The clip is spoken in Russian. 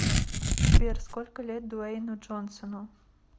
сбер сколько лет дуэйну джонсону